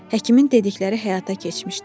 Həkimin dedikləri həyata keçmişdi.